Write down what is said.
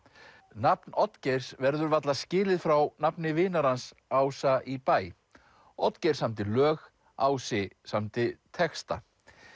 nafn Oddgeirs verður varla skilið frá nafni vinar hans Ása í bæ Oddgeir samdi lög Ási samdi texta